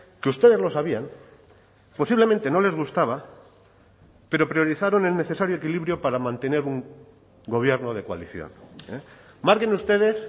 que ustedes lo sabían posiblemente no les gustaba pero priorizaron el necesario equilibrio para mantener un gobierno de coalición marquen ustedes